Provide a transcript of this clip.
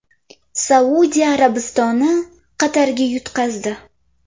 Saudiya Arabistoni Qatarga yutqazdi.